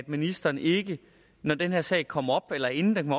ministeren ikke når den her sag kommer op eller inden den